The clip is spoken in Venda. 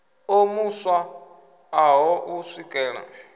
o mu swaṱaho u swikela